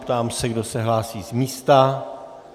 Ptám se, kdo se hlásí z místa.